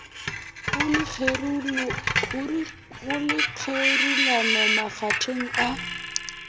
go le kgerulano makgetheng a